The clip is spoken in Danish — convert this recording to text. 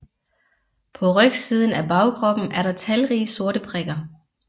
På rygsiden af bagkroppen er der talrige sorte prikker